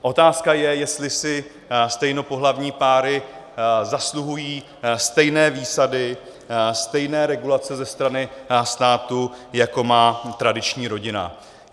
Otázka je, jestli si stejnopohlavní páry zasluhují stejné výsady, stejné regulace ze strany státu, jako má tradiční rodina.